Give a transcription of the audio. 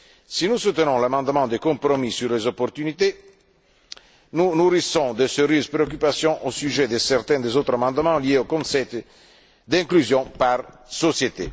Si nous soutenons l'amendement de compromis sur les opportunités, nous nourrissons de sérieuses préoccupations au sujet de certains autres amendements liés au concept d'inclusion par société.